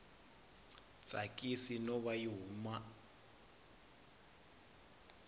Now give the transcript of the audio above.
tsakisi no va yi hume